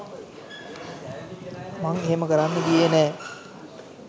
මං එහෙම කරන්න ගියේ නෑ